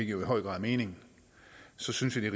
jo i høj grad er meningen så synes jeg